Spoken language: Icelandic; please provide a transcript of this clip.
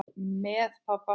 Með pabba.